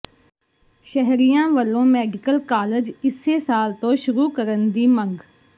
ਸ਼ਹਿਰੀਆਂ ਵਲੋਂ medical college ਇਸੇ ਸਾਲ ਤੋਂ ਸ਼ੁਰੂ ਕਰਨ ਦੀ ਮੰੰਗ